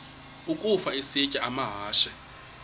ukafa isitya amahashe